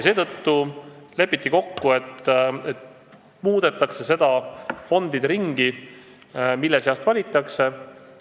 Seetõttu lepiti kokku, et muudetakse seda fondide ringi, mille seast valitakse.